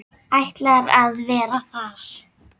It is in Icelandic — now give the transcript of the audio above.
Ætlar að vera þar.